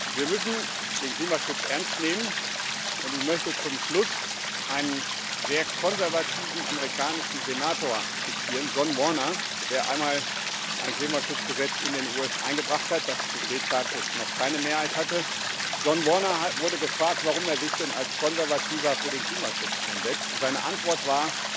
Wir müssen den Klimaschutz ernst nehmen, und ich möchte zum Schluss einen sehr konservativen amerikanischen Senator zitieren, John Warner, der einmal ein Klimaschutzgesetz in den USA eingebracht hat, das zu dem Zeitpunkt noch keine Mehrheit hatte. John Warner wurde gefragt, warum er sich denn als Konservativer für den Klimaschutz einsetzt, und seine Antwort war